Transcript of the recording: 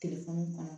kɔnɔ